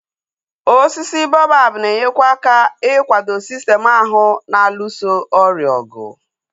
Osisi boabab na-enyekwa aka ikwado sistem ahụ na-alụso ọrịa ọgụ